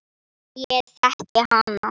En ég þekki hana.